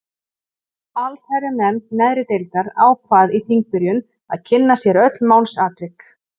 Allsherjarnefnd neðri deildar ákvað í þingbyrjun að kynna sér öll málsatvik.